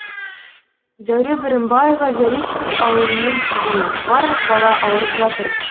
зәуре бірімбаева заречный ауылының тұрғыны барлық бала ауырып жатыр